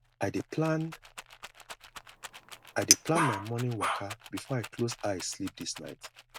i dey plan i dey plan my morning waka before i close eye sleep this night